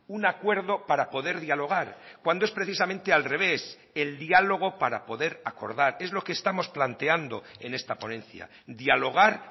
un acuerdo para poder dialogar cuando es precisamente al revés el diálogo para poder acordar es lo que estamos planteando en esta ponencia dialogar